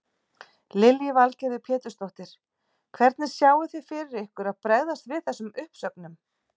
Lillý Valgerður Pétursdóttir: Hvernig sjáið þið fyrir ykkur að bregðast við þessum uppsögnum?